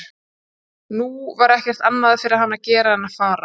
Nú var ekkert annað fyrir hann að gera en að fara.